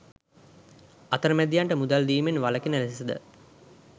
අතරමැදියන්ට මුදල් දීමෙන් වළකින ලෙසද